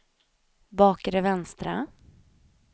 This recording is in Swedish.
bakre vänstra